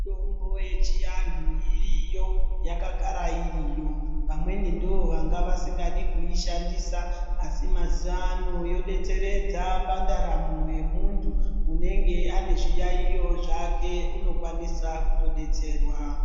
Mitambo yechianhu iriyo, yakagara iriyo, vamweni ndivo vanga vasingadi kuishandisa asi mazuwa ano yodetseredza pandaramo yemuntu unenge une zviyaiyo zvake unokwanisa kutodetserwa.